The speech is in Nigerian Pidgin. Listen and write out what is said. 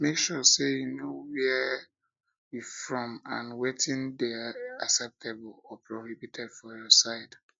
make sure say you know where you from and wetin de acceptable or prohibited for your side